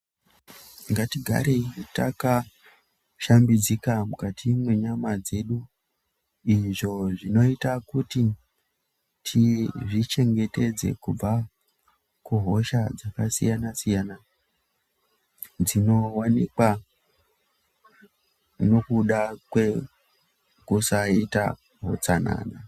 Ngatigarei takashambidzika mukati menyama dzedu izvo zvinota kuti tizvichengetedze kubva kuhosha dzakasiyana-siyana, dzinovanikwa nokuda kwekusaita hutsanana.